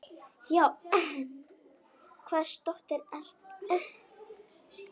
Já, en hvers dóttir ertu.?